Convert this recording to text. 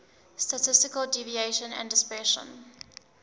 statistical deviation and dispersion